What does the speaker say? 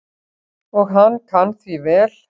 Og hann kann því vel.